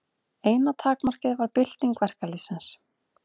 Eina takmarkið var bylting verkalýðsins.